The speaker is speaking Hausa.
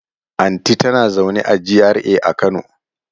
Anti ta na zaune a GRA a kano